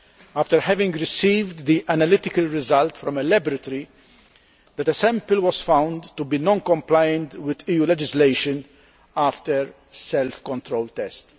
after having received the analytical result from a laboratory that a sample was found to be non compliant with EU legislation after self controlled tests.